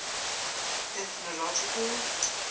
ethnological